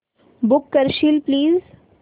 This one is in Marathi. बुक करशील प्लीज